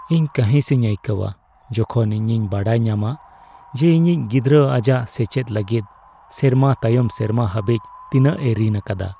ᱤᱧ ᱠᱟᱺᱦᱤᱥ ᱤᱧ ᱟᱹᱭᱠᱟᱹᱣᱟ ᱡᱚᱠᱷᱚᱱ ᱤᱧᱤᱧ ᱵᱟᱰᱟᱭ ᱧᱟᱢᱟ ᱡᱮ ᱤᱧᱤᱡ ᱜᱤᱫᱽᱨᱟᱹ ᱟᱡᱟᱜ ᱥᱮᱪᱮᱫ ᱞᱟᱹᱜᱤᱫ ᱥᱮᱨᱢᱟ ᱛᱟᱭᱚᱢ ᱥᱮᱨᱢᱟ ᱦᱟᱹᱵᱤᱡ ᱛᱤᱱᱟᱹᱜ ᱮ ᱨᱤᱱ ᱟᱠᱟᱫᱟ ᱾